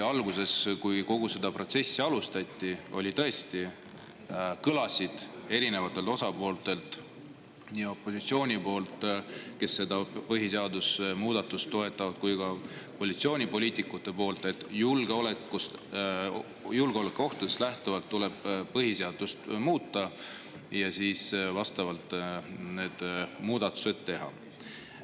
Kui kogu seda protsessi alustati, siis tõesti kõlasid erinevatelt osapooltelt, nii opositsioonipoliitikutelt, kes seda põhiseaduse muudatust toetasid, kui ka koalitsioonipoliitikutelt, et julgeolekuohtudest lähtuvalt tuleb põhiseadust muuta ja siis need muudatused teha.